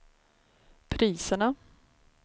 priserna